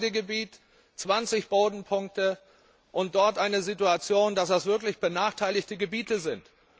Nur Weidegebiet, 20 Bodenpunkte, und eine Situation, dass das wirklich benachteiligte Gebiete sind.